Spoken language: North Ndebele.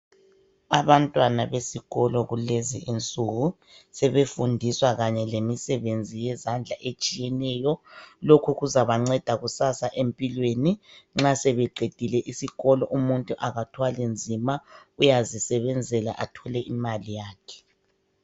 Abantwana besikolo kulezi insuku sebefundiswa kanye lemisebenzi yezandla etshiyeneyo. Lokhu kuzabanceda kusasa empilweni nxa sebeqedile isikolo umuntu akathwali nzima uyazisebenzela athole imali yakhe.